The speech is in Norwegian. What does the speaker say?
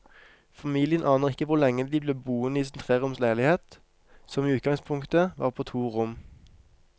Familien aner ikke hvor lenge de blir boende i sin treroms leilighet, som i utgangspunktet var på to rom.